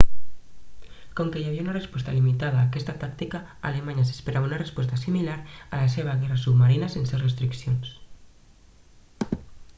com que hi havia una resposta limitada a aquesta tàctica alemanya s'esperava una resposta similar a la seva guerra submarina sense restriccions